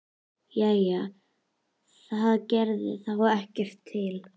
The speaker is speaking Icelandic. Jæja, það gerði þá ekkert til.